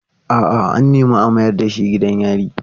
A'a, an nemi a mayar da shi gidan yari.